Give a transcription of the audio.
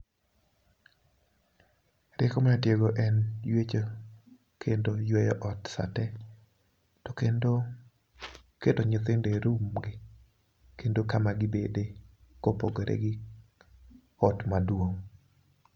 Rieko manyatiyogo en ywecho kendo yweyo ot sa tee. To kendo keto nyithindo e rum gi, kendo kama gibede kopogore gi ot maduong'.